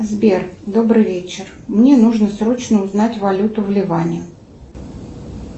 сбер добрый вечер мне нужно срочно узнать валюту в ливане